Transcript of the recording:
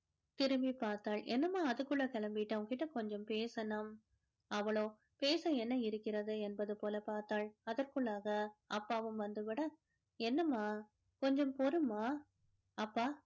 திரும்பிப் பார்த்தால் என்னம்மா அதுக்குள்ள கிளம்பிட்ட உன்கிட்ட கொஞ்சம் பேசணும். அவளோ பேச என்ன இருக்கிறது என்பது போல பார்த்தாள் அதற்குள்ளாக அப்பாவும் வந்து விட என்னம்மா கொஞ்சம் பொறுமா அப்பா